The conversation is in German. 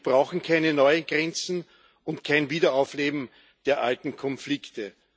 Wir brauchen keine neue Grenzen und kein Wiederaufleben der alten Konflikte.